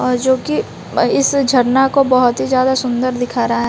और जोकि अ इस झरना को बहोत ही ज्यादा सुंदर दिख रहा--